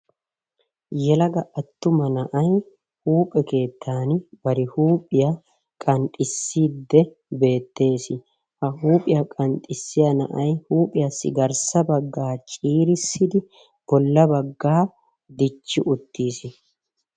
Yelaga attuma na'ay huuphe keettan bari huuphiya qanxxisiiddi beettees. Ha huuphiya qanxxissiya na'ay huuphiyassi garssa bagga ciirissidi bolla baggaa dichchi uttiis.